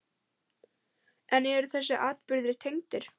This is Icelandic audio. En eru þessir atburðir tengdir?